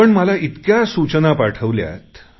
आपण मला इतक्या सूचना पाठवल्यात